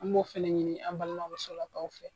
An b'o fana ɲini an balima musolakaw fɛ